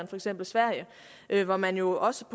for eksempel sverige hvor man jo også